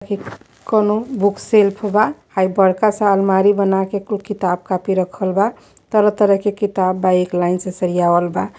हे कवनो book shelf बा। हई बड़का सा अलमारी बनाके कुल किताब कॉपी रखल बा। तरह-तरह के किताब बा एक लाइन से सरियावल बा।